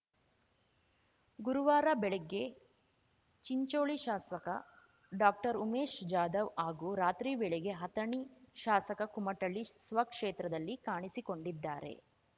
ಗುರುವಾರ ಬೆಳಿಗ್ಗೆ ಚಿಂಚೋಳಿ ಶಾಸಕ ಡಾಕ್ಟರ್ಉಮೇಶ್‌ ಜಾಧವ್‌ ಹಾಗೂ ರಾತ್ರಿ ವೇಳೆಗೆ ಅಥಣಿ ಶಾಸಕ ಕುಮಟಳ್ಳಿ ಸ್ವಕ್ಷೇತ್ರದಲ್ಲಿ ಕಾಣಿಸಿಕೊಂಡಿದ್ದಾರೆ